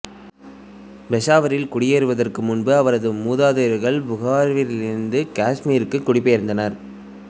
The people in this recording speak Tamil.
பெசாவரில் குடியேறுவதற்கு முன்பு அவரது மூதாதையர்கள் புகாராவிலிருந்து காஷ்மீருக்கு குடிபெயர்ந்தனர்